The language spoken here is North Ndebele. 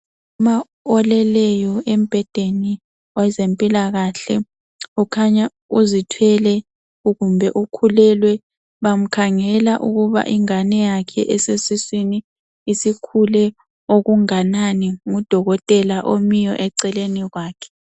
Umama oleleyo embhedeni wezempilakahle ukhanya uzithwele kumbe ukhulelwe. Bamkhangela ukuba ingane yakhe esesiswini isikhule okunganani ngudokotela omiyo eceleni kwakhe.